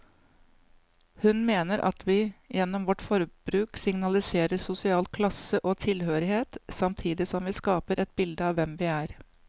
Hun mener at vi gjennom vårt forbruk signaliserer sosial klasse og tilhørighet, samtidig som vi skaper et bilde av hvem vi er.